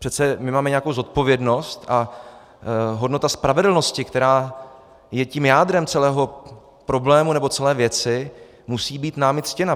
Přece my máme nějakou zodpovědnost a hodnota spravedlnosti, která je tím jádrem celého problému nebo celé věci, musí být námi ctěna.